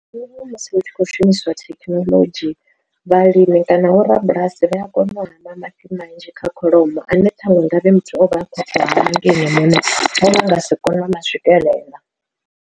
Musi hu tshi khou shumiswa thekhinolodzhi, vhalimi kana vho rabulasi vha ya kona u hama mafhi manzhi kha kholomo ane ṱhaṅwe ngavhe muthu o vha a khou tou hama nga ene muṋe o vha nga si kone u ma swikelela.